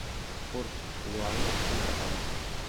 курс юаня в центробанке